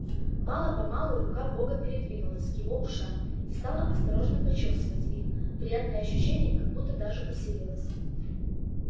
мало помалу рука бога передвинулась к его ушам и стала осторожно почёсывать их приятное ощущение как будто даже усилилось